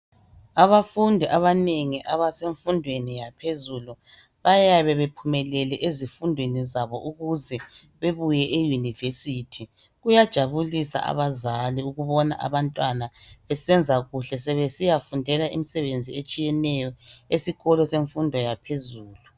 Abafundi abanengi abasemfudweni yaphezulu bayabe bephumele ezifundweni zabo ukuze bebuye eUnivesithi, kuyajabulisa abazali ukubona abantwana besiyafundela imisebenzi etshiyeneyo esikolo semfundo yaphezulu.